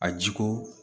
A ji ko